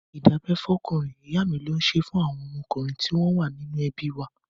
Ìdábẹ́ fọ́kùnrin, ìyá mi ló ṣé fún àwọn ọmọkùnrin tí wọ́n bí nínú ẹbí wa.